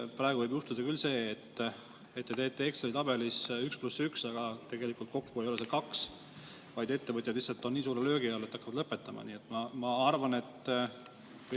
Praegu võib juhtuda küll see, et te teete Exceli tabelis 1 + 1, aga kokku ei tee see tegelikult mitte 2, vaid ettevõtjad lihtsalt on nii suure löögi all, et hakkavad lõpetama.